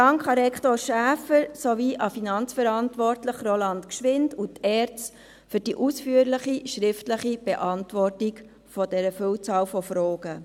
Dank an Rektor Schäfer, an den Finanzverantwortlichen, Roland Gschwind, und an die ERZ für die ausführliche schriftliche Beantwortung dieser Vielzahl von Fragen.